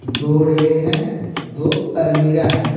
दो रैक हैं दो अलमीरा है।